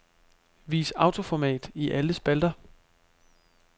Vis autoformat i alle spalter.